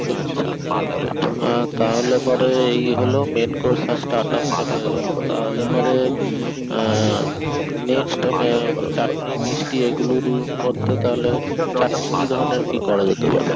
আচ্ছা পমপ্লেট তাহলে পরে এই হল main course starter তো হয়ে গেল তাহলে পরে আহ next চাটনি মিষ্টি ওই গুলোর মধ্যে তাহলে চাটনি কি ধরনের কি করা যেতে পারে